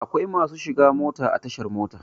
Akwai masu shiga mota a tashar mota.